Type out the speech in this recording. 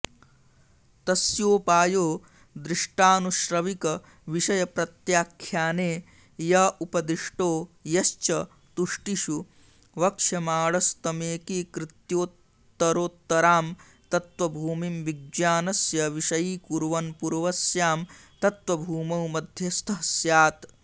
तस्योपायो दृष्टानुश्रविकविषयप्रत्याख्याने य उपदिष्टो यश्च तुष्टिषु वक्ष्यमाणस्तमेकीकृत्योत्तरोत्तरां तत्त्वभूमिं विज्ञानस्य विषयीकुर्वन्पूर्वस्यां तत्त्वभूमौ मध्यस्थः स्यात्